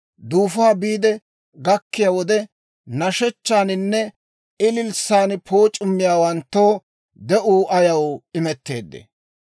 duufuwaa biide gakkiyaa wode, nashshechchaaninne ililssan pooc'ummiyaawanttoo de'uu ayaw imetteedee?